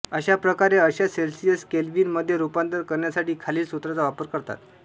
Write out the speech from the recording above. अश्या प्रकारे अंश सेल्सियचे केल्व्हिन मध्ये रूपांतर करण्यासाठी खालील सूत्राचा वापर करतात